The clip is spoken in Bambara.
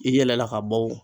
I yɛlɛla ka bɔ o